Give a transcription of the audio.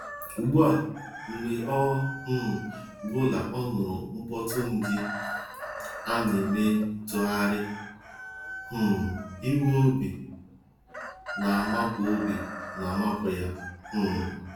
Ugbu a, mgbe ọ um bụla ọ nụrụ mkpọtụ́ndị nq-eme ntagharị um iwe obi na-amapụ obi na-amapụ ya. um